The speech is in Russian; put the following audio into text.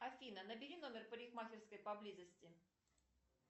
афина набери номер парикмахерской поблизости